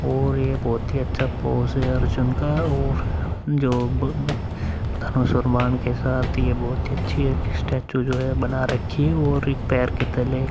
और यह बोहोत ही अच्छा पोज है अर्जुन का और जो ब धनुष और बाण के साथ यह बहोत ही अच्छी स्टैचू जो है बना रखी है और एक पैर के तले --